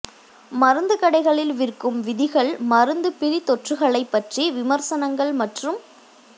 மருந்துக் கடைகளில் விற்கும் விதிகள் மருந்து பிரிதொற்றுகளை பற்றி விமர்சனங்கள் மற்றும்